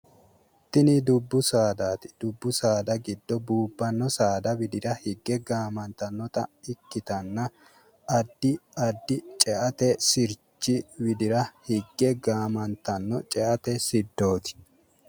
Tini dubbu saadaati. Dubbu saada giddo buubbanno saada widira higge gaamantannota ikkitanna addi addi ceate sirchi widira higge gaamantanno ceate siddooti.